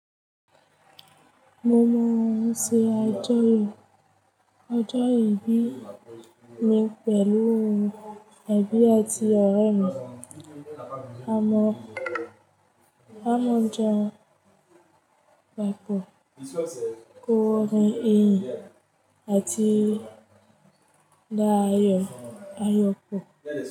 Mo maa nṣe ọjọ́ ìbí mi pẹ̀lú ẹbí àti ọ̀rẹ́ mi. Amọ amọ ọjà papo, kọ orin iyìn àti dá ayọ̀, ayọ pọ̀